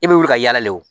E bɛ wuli ka yala le